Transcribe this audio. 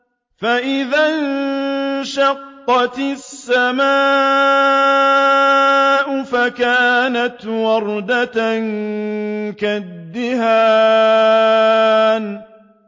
فَإِذَا انشَقَّتِ السَّمَاءُ فَكَانَتْ وَرْدَةً كَالدِّهَانِ